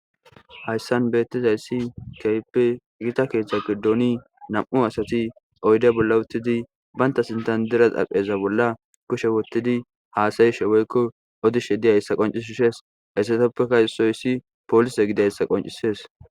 Haysan betizays kehipe giata kethe gidon nam'u asati oyde bola utidi bata xarapheza bolla kushe wotidi hasayshe woyko odishe dizaysa qoncis ha issoysi polise qoncises